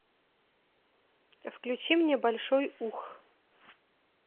включи мне большой ух